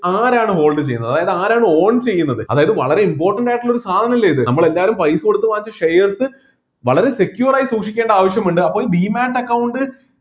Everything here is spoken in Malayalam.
ആരാണ് hold ചെയ്യുന്നത് അതായത് ആരാണ് own ചെയ്യുന്നത് അതായത് വളരെ important ആയിട്ടുള്ള ഒരു സാധനല്ലേ ഇത് നമ്മള് എല്ലാവരും പൈസ കൊടുത്ത് വാങ്ങിച്ച shares വളരെ secured ആയി സൂക്ഷിക്കേണ്ട ആവശ്യം ഇണ്ട് അപ്പോൾ demate account